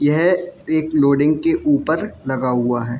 यह एक लोडिंग के ऊपर लगा हुआ है।